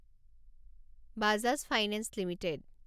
Bajaj finance limited